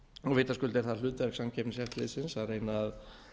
vitaskuld er það hlutverk samkeppniseftirlitsins að reyna að